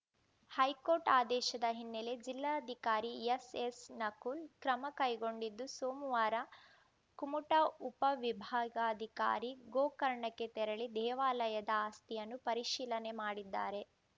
high court ಆದೇಶದ ಹಿನ್ನೆಲೆ ಜಿಲ್ಲಾಧಿಕಾರಿ ಎಸ್‌ಎಸ್‌ನಕುಲ್‌ ಕ್ರಮ ಕೈಗೊಂಡಿದ್ದು ಸೋಮವಾರ ಕುಮುಟಾ ಉಪ ವಿಭಾಗಾಧಿಕಾರಿ ಗೋಕರ್ಣಕ್ಕೆ ತೆರಳಿ ದೇವಾಲಯದ ಆಸ್ತಿಯನ್ನು ಪರಿಶೀಲನೆ ಮಾಡಿದ್ದಾರೆ